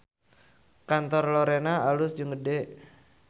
Kantor Lorena alus jeung gede